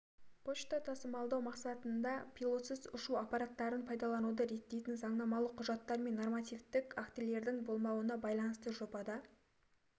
пошта тасымалдау мақсатында пилотсыз ұшу аппараттарын пайдалануды реттейтін заңнамалық құжаттар мен нормативтік актілердің болмауына байланысты жобада